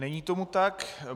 Není tomu tak.